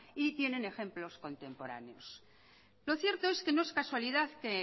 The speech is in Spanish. y tienen ejemplos contemporáneos lo cierto es que no es casualidad que